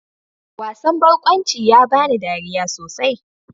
Wasan barkwanci ya bani dariya sosai.